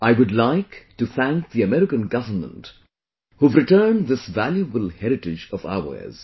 I would like to thank the American government, who have returned this valuable heritage of ours